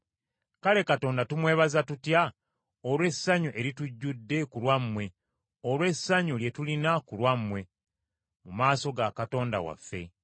Kale Katonda tumwebaze tutya olw’essanyu eritujjudde ku lwammwe olw’essanyu lye tulina ku lwammwe mu maaso ga Katonda waffe?